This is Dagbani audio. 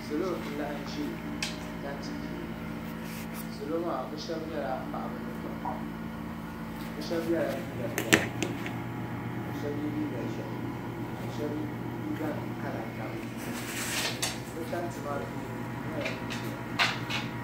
Salo n laɣim zɛ tanti puuni salo maa bi shɛba nyɛla paɣiba ni daaba bi shɛba yela liiga piɛla ka shɛba ye liiga ʒɛhi ka sɛhba liiga nima kala gabi ba tanti maa tooni duu nyɛla dini zɛya.